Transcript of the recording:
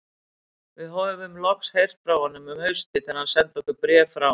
Við höfðum loks heyrt frá honum um haustið þegar hann sendi okkur bréf frá